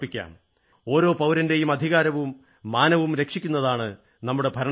ഓരോ പൌരന്റെയും അധികാരവും മാനവും രക്ഷിക്കുന്നതാണ് നമ്മുടെ ഭരണഘടന